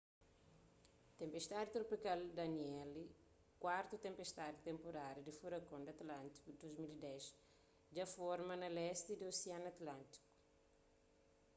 tenpestadi tropikal danielle kuartu tenpestadi di tenporada di furakon di atlántiku di 2010 dja forma na lesti di osianu atlántiku